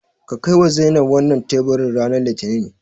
Ka kaiwa Zainab wannan teburin ranar Litinin.